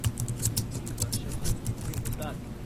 तुम्ही वर्षभर येथे होतात.